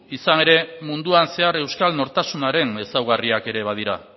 izan ere munduan zehar euskal nortasunaren ezaugarriak ere badira